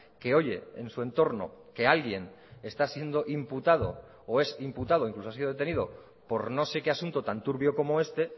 que oye en su entorno que alguien está siendo imputado o es imputado incluso ha sido detenido por no sé qué asunto tan turbio como este